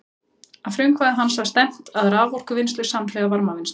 Að frumkvæði hans var stefnt að raforkuvinnslu samhliða varmavinnslu.